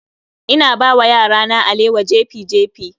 Ina bawa yarana alewa jefi-jefi